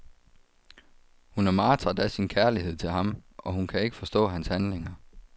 Hun er martret af sin kærlighed til ham, og hun kan ikke forstå hans handlinger.